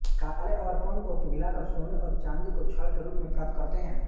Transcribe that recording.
काले अवर्पंक को पिघलाकर सोने और चाँदी को छड़ के रूप में प्राप्त करते हैं